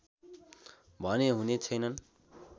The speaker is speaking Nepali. भने हुने छैनन्